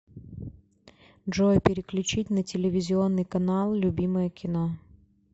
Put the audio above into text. джой переключить на телевизионный канал любимое кино